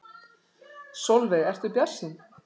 Sólveig: Ertu bjartsýnn?